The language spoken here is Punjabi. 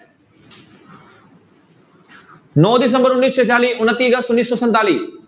ਨੋਂ ਦਸੰਬਰ ਉੱਨੀ ਸੌ ਛਿਆਲੀ, ਉਣੱਤੀ ਅਗਸਤ ਉੱਨੀ ਸੌ ਸੰਤਾਲੀ।